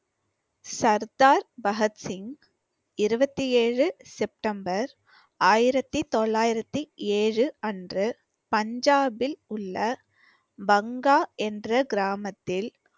சர்தார் பகத்சிங், இருபத்தி ஏழு செப்டம்பர் ஆயிரத்தி தொள்ளாயிரத்தி ஏழு அன்று பஞ்சாபில் உள்ள என்ற பங்கா கிராமத்தில்